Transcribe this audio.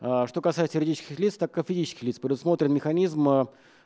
что касается юридических лиц так и физических лиц предусмотрен механизм